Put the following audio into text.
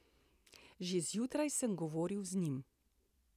Že zjutraj sem govoril z njim.